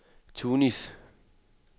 Tunis